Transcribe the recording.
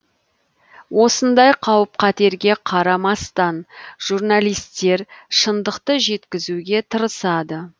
осындай қауіп қатерге қарамастан журналистер шындықты жеткізуге тырысады